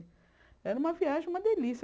Era uma viagem, uma delícia.